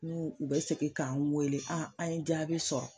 N'u bi segin k'an weele an ye jaabi sɔrɔ